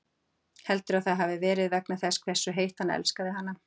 Heldurðu að það hafi verið vegna þess hversu heitt hann elskaði hana?